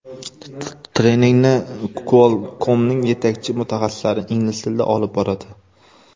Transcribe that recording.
Treningni Qualcomm’ning yetakchi mutaxassislari ingliz tilida olib boradi.